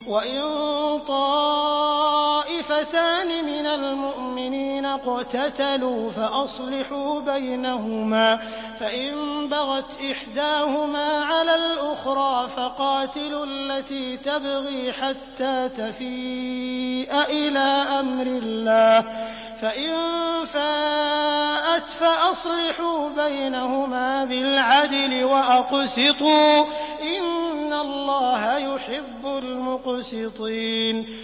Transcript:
وَإِن طَائِفَتَانِ مِنَ الْمُؤْمِنِينَ اقْتَتَلُوا فَأَصْلِحُوا بَيْنَهُمَا ۖ فَإِن بَغَتْ إِحْدَاهُمَا عَلَى الْأُخْرَىٰ فَقَاتِلُوا الَّتِي تَبْغِي حَتَّىٰ تَفِيءَ إِلَىٰ أَمْرِ اللَّهِ ۚ فَإِن فَاءَتْ فَأَصْلِحُوا بَيْنَهُمَا بِالْعَدْلِ وَأَقْسِطُوا ۖ إِنَّ اللَّهَ يُحِبُّ الْمُقْسِطِينَ